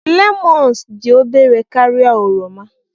lemons dị obere karịa oroma